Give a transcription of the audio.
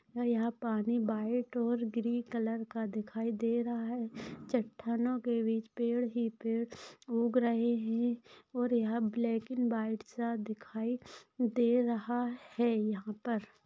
यहा पानी व्हाइट और ग्रीन कलर का दिखाई दे रहा है चट्टानोके बिच पेड़ भी पेड़ उग रहे है और यहा ब्लैक अँड व्हाइट सा दिखाई दे रहा है यहापर।